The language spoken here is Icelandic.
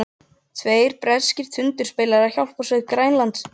Tveir breskir tundurspillar og hjálparbeitiskip í Grænlandshafi.